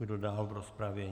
Kdo dál v rozpravě?